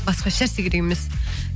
басқа ешнәрсе керек емес